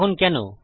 এখন কেন